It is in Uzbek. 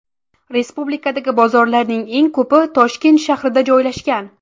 Respublikadagi bozorlarning eng ko‘pi Toshkent shahrida joylashgan.